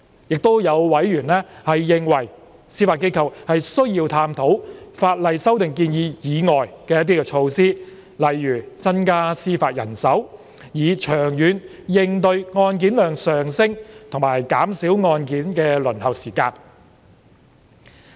亦有委員認為，司法機構需要探討法例修訂建議以外的措施，以長遠應對案件量上升及減少案件輪候時間。